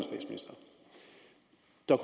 der